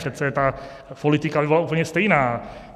Přece ta politika by byla úplně stejná.